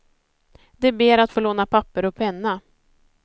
De ber att få låna papper och penna.